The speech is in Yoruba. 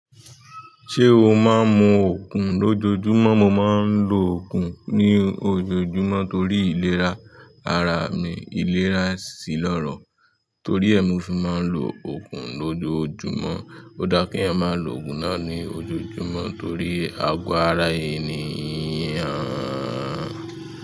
Ṣé o máa ń mu oogun lójoojúmọ́? Mo máa ń lo okun ní ojoojúmọ́ torí ìlera ara mi. Ìlera sí lọ́rọ̀. Tori e ni mo fi maa n lo oogun lojoojumo. O daa ki eeyan maa lo oogun naa lojoojumo tori ago ara eniyan.